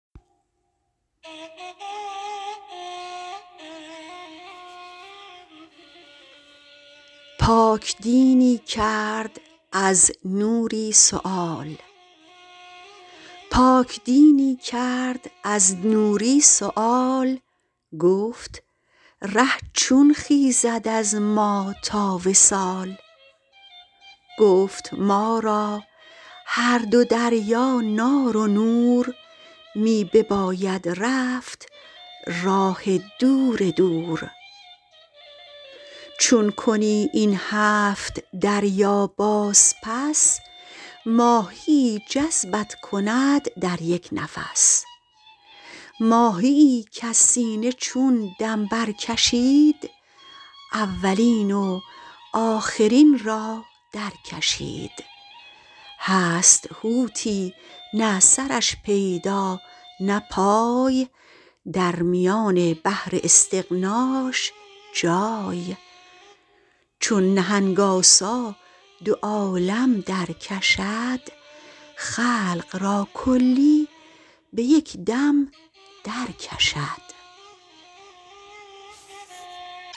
پاک دینی کرد از نوری سؤال گفت ره چون خیزد از ما تا وصال گفت ما را هر دو دریا نار و نور می بباید رفت راه دور دور چون کنی این هفت دریا باز پس ماهیی جذبت کند در یک نفس ماهیی کز سینه چون دم برکشید اولین و آخرین را درکشید هست حوتی نه سرش پیدا نه پای درمیان بحر استغناش جای چون نهنگ آسا دو عالم درکشد خلق را کلی به یک دم درکشد